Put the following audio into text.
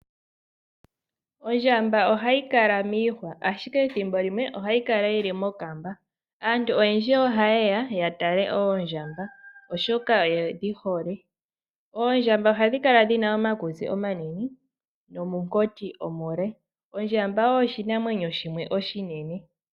Ondjamba ohayi kala miihwa ashike thimbo limwe ohayi kala yili mokamba aantu oyendji oha yeya yatale Oondjamba oshoka oyedhi hole , Oondjamba ohadhi kala dhina omakutsi omanene nomunkoti omule. Ondjamba oyo oshinamwenyo oshinene.